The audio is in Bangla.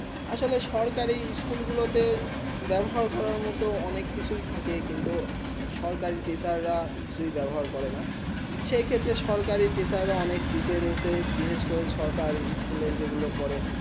আসলে সকারী স্কুল গুলু তে জ্ঞান অর্চন করা মতুন অনেক কিছু থাকে কিন্তু সকারী টিচার রা কিছু বেবহার করে না সেই ক্ষেত্রে সকারী টিচার রা অনেক ফেইসে বলে বিশেষ করে সরকার স্কুল যে গুলু পরে